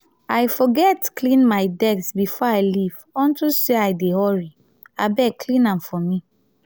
i forget clean my desk before i leave unto say i dey hurry. abeg clean am for me.